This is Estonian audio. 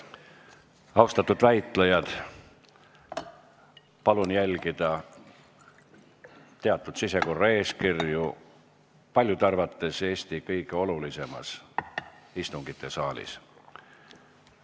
Austatud väitlejad, palun järgida teatud sisekorra eeskirju selles paljude arvates Eesti kõige olulisemas istungisaalis!